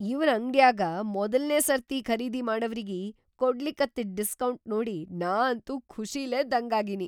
ಇವ್ರ್‌ ಅಂಗ್ಡ್ಯಾಗ ಮೊದಲ್ನೇ ಸರ್ತಿ ಖರೀದಿ ಮಾಡವ್ರಿಗಿ ಕೊಡ್ಲಿಕತ್ತಿದ್‌ ಡಿಸ್ಕೌಂಟ್‌ ನೋಡಿ ನಾ ಅಂತೂ ಖುಷಿಲೇ ದಂಗಾಗೀನಿ.